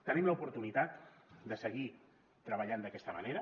tenim l’oportunitat de seguir treballant d’aquesta manera